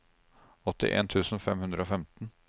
åttien tusen fem hundre og femten